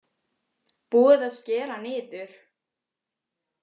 Búið að skera niður